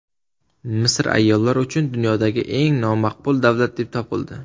Misr ayollar uchun dunyodagi eng nomaqbul davlat deb topildi.